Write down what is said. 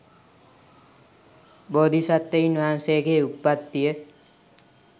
බෝධිසත්වයින් වහන්සේගේ උත්පත්තිය